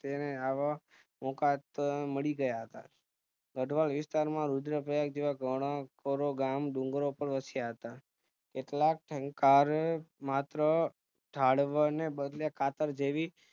તેને આવા મોકા મળીગયા હતા ગઠવાલ વિસ્તાર માં રુદ્રપ્રયાગ જેવા ઘણા લોકો ગામ ડુંગરો પાર વસ્યા હતા કેટલાક માત્ર જાદવને બદલે કતાર જેવી